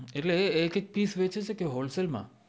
એટલે એ એક એક પીશ વેચે છે કે હોલ સેલ માં